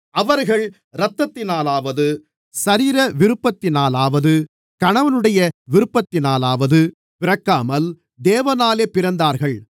அவர்கள் இரத்தத்தினாலாவது சரீரவிருப்பத்தினாலாவது கணவனுடைய விருப்பத்தினாலாவது பிறக்காமல் தேவனாலே பிறந்தவர்கள்